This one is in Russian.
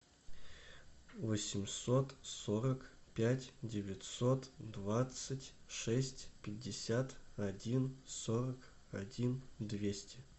восемьсот сорок пять девятьсот двадцать шесть пятьдесят один сорок один двести